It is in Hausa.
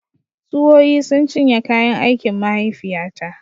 Tsuwoyi sun cinye kayan aikin mahaifiyata